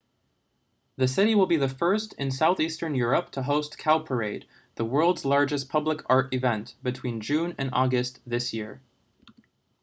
the city will be the first in southeastern europe to host cowparade the world's largest public art event between june and august this year